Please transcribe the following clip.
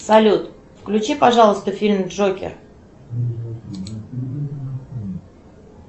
салют включи пожалуйста фильм джокер